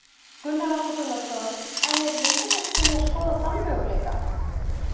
Gunnar Atli Gunnarsson: En er Viðreisn til í að skoða þann möguleika?